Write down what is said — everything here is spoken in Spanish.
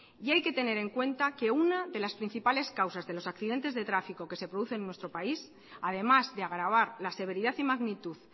y hay que tener en cuenta que una de las principales causas de los accidentes de tráfico que se producen en nuestro país además de agravar la severidad y magnitud